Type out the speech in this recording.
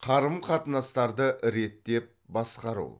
қарым қатынастарды реттеп басқару